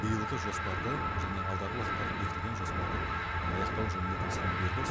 биылғы жоспарды және алдағы уақыттағы бекітілген жоспарды аяқтау жөнінде тапсырма берді